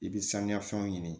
I bɛ sanuya fɛnw ɲini